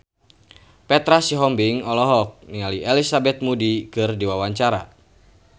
Petra Sihombing olohok ningali Elizabeth Moody keur diwawancara